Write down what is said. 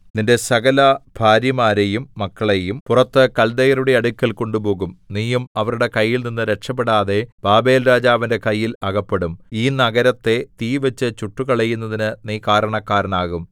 നിന്റെ സകലഭാര്യമാരെയും മക്കളെയും പുറത്ത് കല്ദയരുടെ അടുക്കൽ കൊണ്ടുപോകും നീയും അവരുടെ കൈയിൽനിന്ന് രക്ഷപെടാതെ ബാബേൽരാജാവിന്റെ കയ്യിൽ അകപ്പെടും ഈ നഗരത്തെ തീ വെച്ചു ചുട്ടുകളയുന്നതിനു നീ കാരണക്കാരനാകും